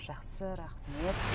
жақсы рахмет